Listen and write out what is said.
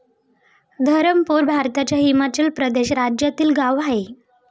धरमपूर भारताच्या हिमाचल प्रदेश राज्यातील गाव आहे.